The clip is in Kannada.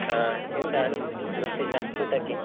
ಹಾ, ಎಂತ ವಿಶೇಷ ಊಟಕ್ಕೆ?